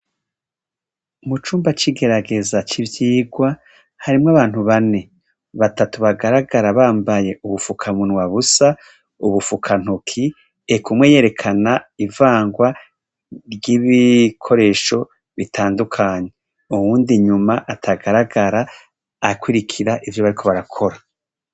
Mu cumba c'igerageza c'ivyirwa harimwo abantu bane; batatu bagaragara bambaye ubufukunwa busa, ubufukantoki. Eka umwe yerekana ivarwa ry'ibikoresho bitandukanye, uyundi inyuma atagaragara akurikira ivyo bariko barakora.